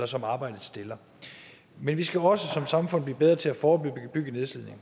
som arbejdet stiller men vi skal også som samfund blive bedre til at forebygge nedslidning